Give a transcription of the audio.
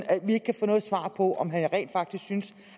at vi ikke kan få noget svar på om han rent faktisk synes